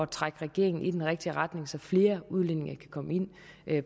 trække regeringen i den rigtige retning så flere udlændinge kan komme ind